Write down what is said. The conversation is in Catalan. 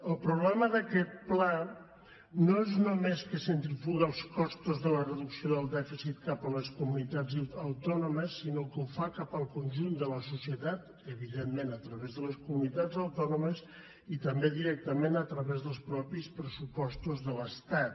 el problema d’aquest pla no és només que centrifuga els costos de la reducció del dèficit cap a les comunitats autònomes sinó que ho fa cap al conjunt de la societat evidentment a través de les comunitats autònomes i també directament a través dels mateixos pressupostos de l’estat